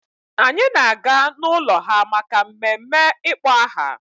Anyị na-aga n'ụlọ ha maka mmemme ịkpọ aha.